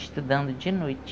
Estudando de noite.